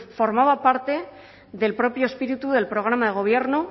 formaba parte del propio espíritu del programa de gobierno